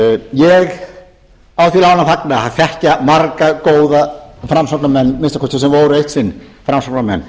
ég á því láni að fagna að þekkja marga góða framsóknarmenn að minnsta kosti sem voru eitt sinn framsóknarmenn